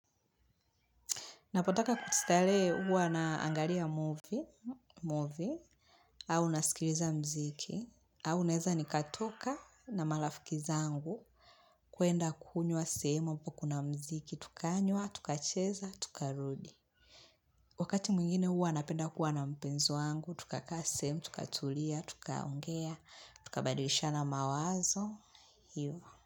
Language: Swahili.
Napotaka kustarehe uwa naangalia movie. Movie. Au nasikiliza muziki au naeza nikatoka na marafiki zangu kwenda kunywa semo. Pakona mziki. Tukanywa. Tukacheza. Tukarudi. Wakati mwingine huwa napenda kuwa na mpenzi wangu. Tukakaa sehemu. Tukatulia. Tukaongea. Tukabadishana mawazo.